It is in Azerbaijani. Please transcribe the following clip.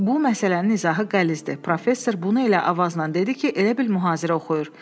Bu məsələnin izahı qəlizdir, professor bunu elə avazla dedi ki, elə bil mühazirə oxuyur.